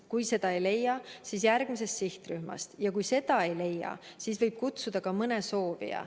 Kui sealt kedagi ei leita, siis tuleb leida keegi järgmisest sihtrühmast, ja kui sealt ei leita, siis võib kutsuda ka mõne muu soovija.